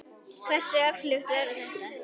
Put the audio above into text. Hversu öflugt verður þetta?